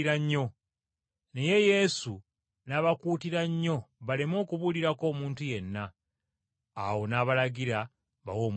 Naye Yesu n’abakuutira nnyo baleme okubuulirako omuntu yenna. Awo n’abalagira bawe omwana ekyokulya.